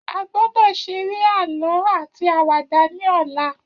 A gbọ́dọ̀ seré àlọ́ áti àwàdà ní ọ̀la